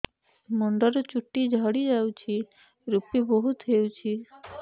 ମୁଣ୍ଡରୁ ଚୁଟି ଝଡି ଯାଉଛି ଋପି ବହୁତ ହେଉଛି